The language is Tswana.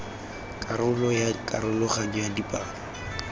karolo ya karologanyo ya dipalo